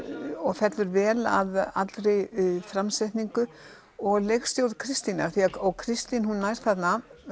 og fellur vel að allri framsetningu og leikstjórn Kristínar og Kristín hún nær þarna